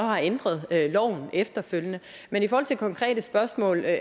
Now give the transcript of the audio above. har ændret loven efterfølgende men i forhold til konkrete spørgsmål er